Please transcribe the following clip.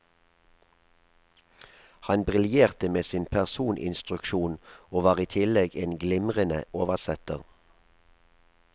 Han briljerte med sin personinstruksjon, og var i tillegg en glimrende oversetter.